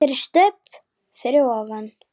FYRIR STUBB fyrir ofan.